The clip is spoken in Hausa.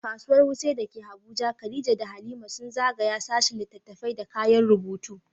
A Kasuwar Wuse da ke Abuja, Khadija da Halima sun zagaya sashin littattafai da kayan rubutu.